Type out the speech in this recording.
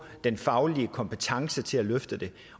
den faglige kompetence til at løfte det